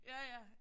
Ja ja